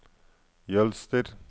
Jølster